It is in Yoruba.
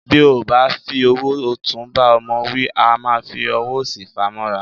Bí a bá fi ọwọ́ ọ̀tún bá ọmọ wí, a máa fi ọwọ́ òsì fàá mọ́ra.